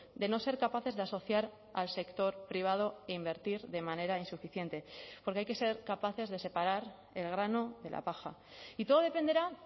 de no ser capaces de asociar al sector privado e invertir de manera insuficiente porque hay que ser capaces de separar el grano de la paja y todo dependerá